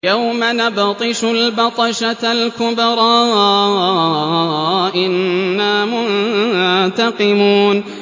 يَوْمَ نَبْطِشُ الْبَطْشَةَ الْكُبْرَىٰ إِنَّا مُنتَقِمُونَ